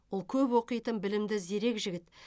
ол көп оқитын білімді зерек жігіт